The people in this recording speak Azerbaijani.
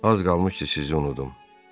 Az qalmışdı sizi unudum.